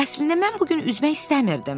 Əslində mən bu gün üzmək istəmirdim.